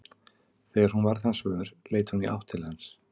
Þegar hún varð hans vör leit hún í átt til hans.